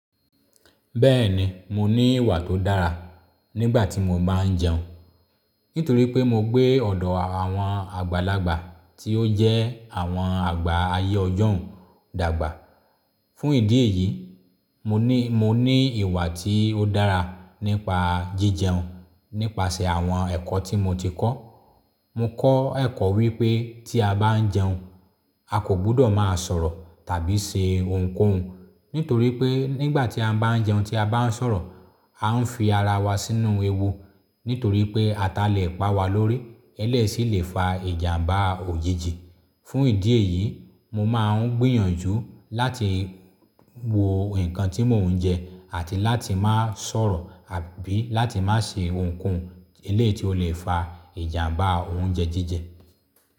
Bẹ́ẹ̀ni, mo ní ìwà tó dára nígbà tí mo báa ń jẹun nítorí pé mo gbé ọ̀dọ̀ àwọn àgbàlagbà tí ó jẹ́ àwọn àgbà ayé ọjọ́ún dàgbà. Fún ìdí èyí, mo ní, mo ní ìwà tí ó dára nípa jíjẹun nípasẹ̀ àwọn ẹ̀kọ́ tí mo ti kọ́. Mo kọ́ ẹ̀kọ́ wípé tí a bá ń jẹun, a kò gbúdọ̀ máa sọ̀rọ̀ tàbí ṣe ohunkóhun nítorí pé nígbà tí a bá ń jẹun tí a bá ń sọ̀rọ̀, a ń fi ara wa sínú ewu nítorí pé ata lè pa wa lórí, èléyìí sì lè fa ìjàmbá òyìjì. Fún ìdí èyí, mo máa ń gbìyànjú láti wo nǹkan tí mò ń jẹ àti láti máá sọ̀rọ̀ àbí láti má ṣe ohunkóhun eléeyí tí ó lè fa ìjàmbá oúnjẹ jíjẹ.